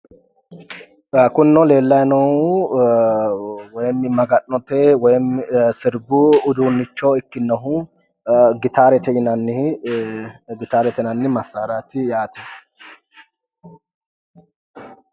kunino leellayi noohu woy maga'note woy sirbu uduunnicho ikkinohu gitaarete yinanni massaraati yaate